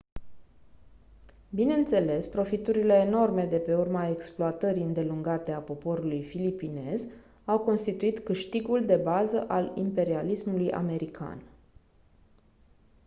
bineînțeles profiturile enorme de pe urma exploatării îndelungate a poporului filipinez au constituit câștigul de bază al imperialismului american